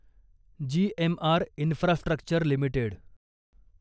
GMR infrastructure limited